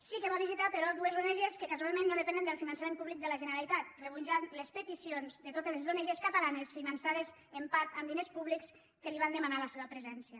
sí que va visitar però dues ong que casualment no depenen del finançament públic de la generalitat i van rebutjar les peticions de totes les ong catalanes finançades en part amb diners públics que li van demanar la seva presència